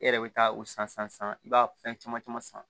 E yɛrɛ bɛ taa o san san san san i b'a fɛn caman caman san